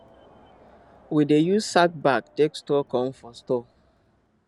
we dey use sack bag take store corn for store